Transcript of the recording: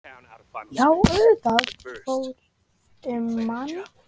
Já auðvitað fór um mann.